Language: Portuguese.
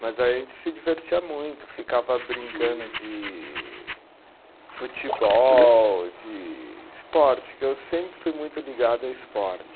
Mas aí a gente se divertia muito, ficava brincando de futebol, de esporte, que eu sempre fui muito ligado a esporte.